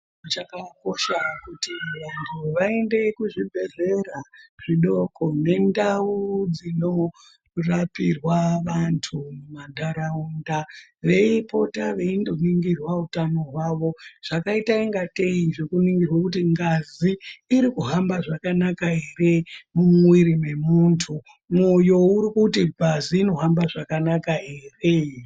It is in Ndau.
Chakakosha kuti vanhu vaende kuzvibhedhlera zvidoko nendau dzinorapirwe antu mumantaraunda veipota veindoningirwa utano hwavo zvakaita ingatei Zvekuningirwe kuti ngazi iri kuhamba zvakanaka ere mumwiri mwemuntu mwoyo urukuti ngazi inohamba zvakanaka ere.